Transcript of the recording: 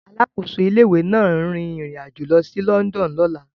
Alákòóso ilé-ìwé náà ń rin ìrìn àjò lọ sí London lọ́la.